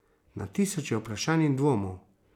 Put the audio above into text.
Na tisoče vprašanj in dvomov!